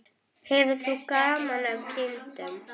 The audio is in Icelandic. Hefur þú gaman af kindum?